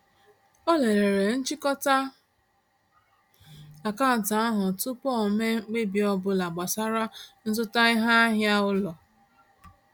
Ọ lelere nchịkọta akaụntụ ahụ tụpụ o mee mkpebi ọbụla gbasara nzụta iheahịa ụlọ.